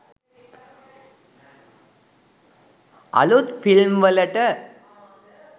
අලුත් ෆිල්ම් වලට.